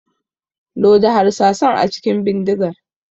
Loda harsasan a cikin bidigar.